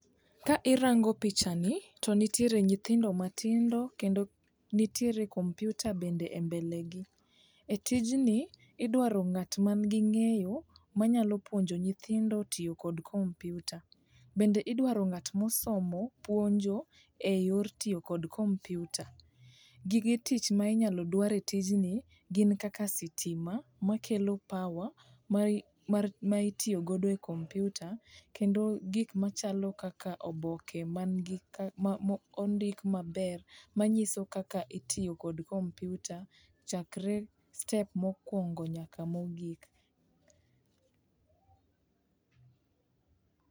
Ka irango pichani to nitiere nyithindo matindo kendo nitiere computer bende embelegi. Etijni idwaro ng'at mangi ng'eyo manyalo puonjo nyithindo tiyo kod computer. Bende idwaro ng'at mosomo puonjo eyor tiyo kod computer. Gige tich ma inyalo dwar etijni gin kaka stima makelo power mai mar ma itiyo godo e computer kendo gik machalo kaka oboke mangi ma ma mondik maber manyiso kaka itiyo kod computer chakre step mokuongo nyaka mogik.